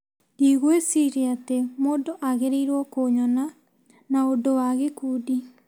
Ndĩgũĩciria atĩ mũndũ agĩrĩirũo kũnyona na ũndũ wa gĩkundi.